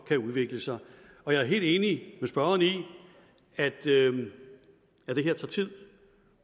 kan udvikle sig jeg er helt enig med spørgeren i at det her tager tid